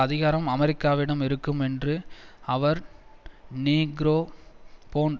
அதிகாரம் அமெரிக்காவிடம் இருக்கும் என்று அவர் நீக்ரோபொன்ட்